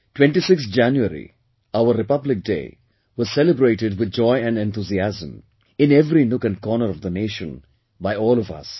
26th January, our Republic Day was celebrated with joy and enthusiasm in every nook and corner of the nation by all of us